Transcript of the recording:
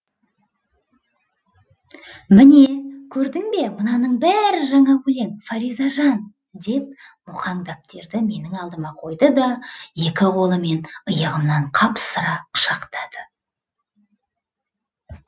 міне көрдің бе мынаның бәрі жаңа өлең фаризажан деп мұқаң дәптерді менің алдыма қойды да екі қолымен иығымнан қапсыра құшақтады